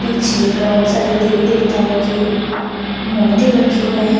पीछे बहोत सारी देवी देवताओं के मूर्ति रखे गए हैं।